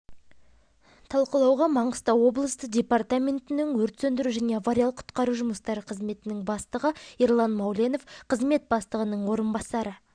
талқылауға маңғыстау облысы департаментінің өрт сөндіру және авариялық-құтқару жұмыстары қызметінің бастығы ерлан мауленов қызмет бастығының орынбасары